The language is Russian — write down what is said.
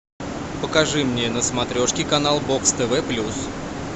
покажи мне на смотрешке канал бокс тв плюс